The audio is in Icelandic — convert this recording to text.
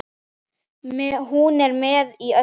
Hún er með í öllu